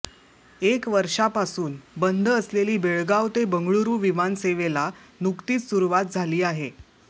एक वर्षापासून बंद असलेली बेळगाव ते बंगळूरु विमानसेवेला नुकतीच सुरुवात झाली आहे